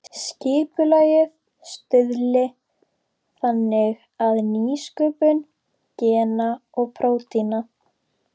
Skipulagið stuðli þannig að nýsköpun gena og prótína.